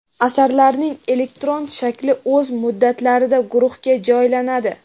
Asarlarning elektron shakli o‘z muddatlarida guruhga joylanadi.